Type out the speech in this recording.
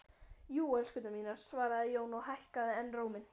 Jú, elskurnar mínar, svaraði Jón og hækkaði enn róminn.